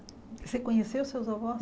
Você conheceu seus avós?